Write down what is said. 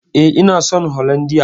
E, ina son holandiya.